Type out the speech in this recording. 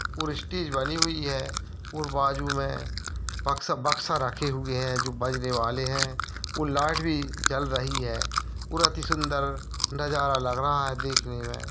और स्टेज बनी हुई है और बाजू में बक्सा बक्सा रखे हुए हैं जो बजने वाले हैं और लाइट भी जल रही है और अति सुन्दर नजारा लग रहा है देखने में--